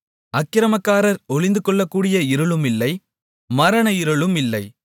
அக்கிரமக்காரர் ஒளிந்துகொள்ளக்கூடிய இருளுமில்லை மரணஇருளுமில்லை